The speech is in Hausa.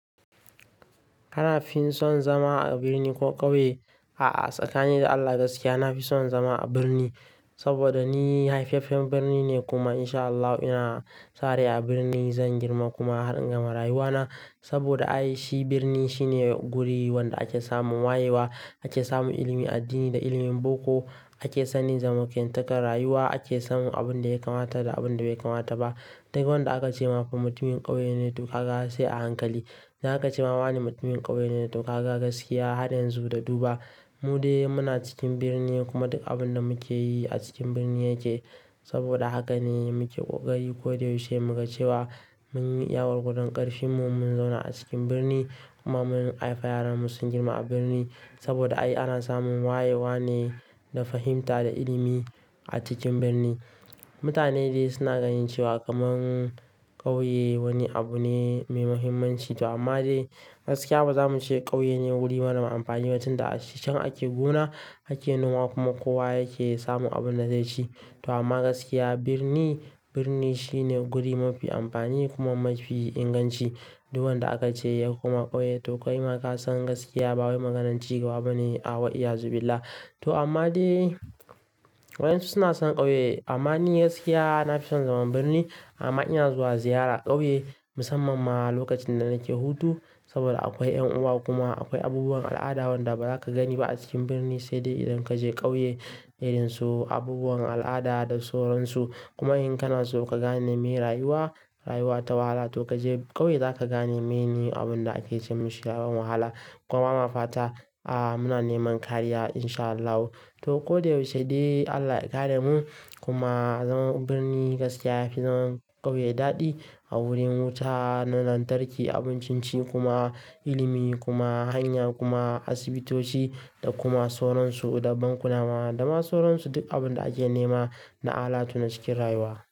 Kana fi son zama a birni ko ƙauye? A'a tsakanin da Allah gaskiya nafi son zama a birni, saboda ni haifaffen birni ne kuma in sha Allah ina sarai a birni zan girma kuma har in gama rayuwa na. Saboda ai shi birni shine guri wanda ake samun wayewa, ake samun ilimin addini da ilimin boko, ake sanin zamantakar rayuwa, ake samun abin da ya kamata da abin da bai kamata ba. Duk wanda aka ce ma fa mutumin ƙauye ne to kaga sai a hankali. Za ka ce ma wane mutumin ƙauye ne, to kaga gaskiya har yanzu da duba mu dai muna cikin birni kuma duk abin da muke yi a cikin birni yake. Saboda haka ne muke ƙoƙari koda yaushe muga cewa mun yi iya gwargwadon ƙarfinmu mun zauna a cikin birni kuma mun haifi yaranmu sun girma a birni. Saboda ai ana samun wayewa ne da fahimta da ilimi a cikin birni. Mutane dai suna ganin cewa kamun ƙauye wani abu ne mai muhimmanci to amma dai gaskiya bazamu ce ƙauye ne wuri marar amfani ba tunda a can ake gona, ake noma kuma kowa yake samun abin da zai ci. To amma gaskiya birni, birni shine guri mafi amfani kuma mafi inganci. Duk wanda aka ce ya koma ƙauye to kai ma ka san gaskiya ba wai maganar cigaba ba ne. A wa iyazu billah. To amma dai waɗansu suna son ƙauye amma ni gaskiya nafi son zaman birni. Amma ina zuwa ziyara ƙauye musamman ma lokacin da nake hutu. Saboda akwai ƴan uwa kuma akwai abubuwan al'ada wanda baza ka gani ba a cikin birni sai dai idan kaje ƙauye. Irin su abubuwan al'ada da sauransu. Kuma in kana so ka gane me rayuwa, rayuwa ta wahala to kaje ƙauye za ka gane me ne abin da ake ce musu yawon wahala. Kuma bama fata a muna neman kariya in sha Allahu. To koda yaushe dai Allah ya kare mu kuma zaman birni gaskiya yafi zaman ƙauye daɗi. A wurin wuta, na lantarki, abun ciye-ciye kuma ilimi kuma hanya kuma asibitoci da kuma sauransu. Da bankuna ma da ma sauransu. Duk abin da ake nema na alatu na cikin rayuwa.